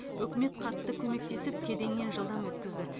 үкімет қатты көмектесіп кеденнен жылдам өткізді